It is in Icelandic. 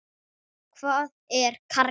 Hvað er karrí?